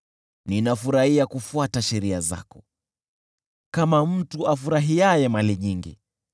Ninafurahia kufuata sheria zako kama mtu afurahiaye mali nyingi.